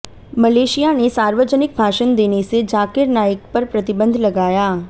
Malaysia ने सार्वजनिक भाषण देने से जाकिर नाइक पर प्रतिबंध लगाया